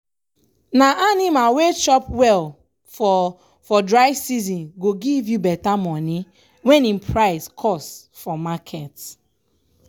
na anima wey chop well for for dry season go give you beta moni wen im price cost for market.